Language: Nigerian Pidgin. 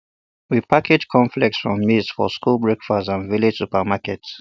we package cornflakes from maize for school breakfast and village supermarkets